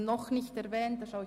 Ich sehe keine Wortmeldungen.